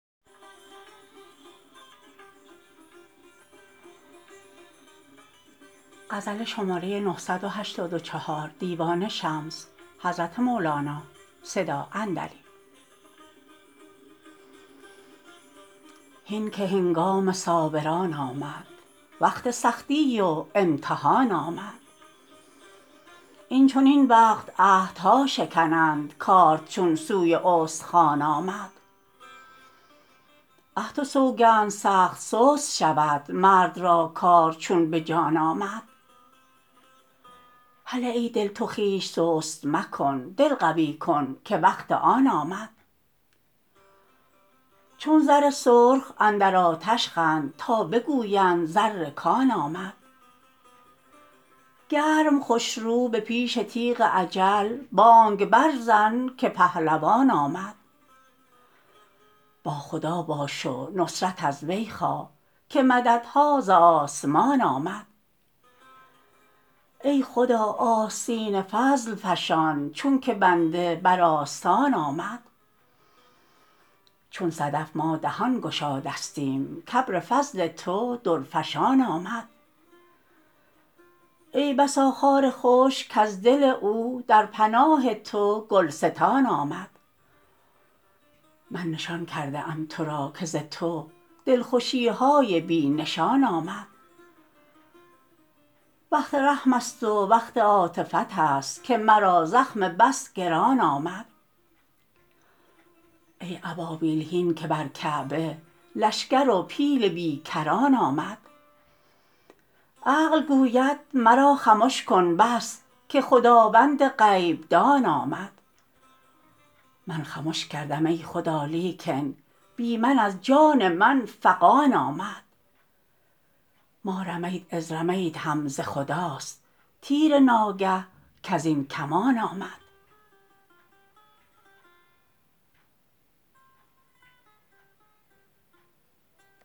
هین که هنگام صابر ان آمد وقت سختی و امتحان آمد این چنین وقت عهد ها شکنند کارد چون سوی استخوان آمد عهد و سوگند سخت سست شود مرد را کار چون به جان آمد هله ای دل تو خویش سست مکن دل قوی کن که وقت آن آمد چون زر سرخ اندر آتش خند تا بگویند زر کان آمد گرم خوش رو به پیش تیغ اجل بانگ برزن که پهلوان آمد با خدا باش و نصرت از وی خواه که مدد ها ز آسمان آمد ای خدا آستین فضل فشان چونکه بنده بر آستان آمد چون صدف ما دهان گشادستیم که ابر فضل تو درفشان آمد ای بسا خار خشک کز دل او در پناه تو گلستان آمد من نشان کرده ام تو را که ز تو دلخوشی های بی نشان آمد وقت رحم است و وقت عاطفت است که مرا زخم بس گران آمد ای ابابیل هین که بر کعبه لشکر و پیل بی کران آمد عقل گوید مرا خمش کن بس که خداوند غیب دان آمد من خمش کردم ای خدا لیکن بی من از خان من فغان آمد ما رمیت اذ رمیت هم ز خداست تیر ناگه کز این کمان آمد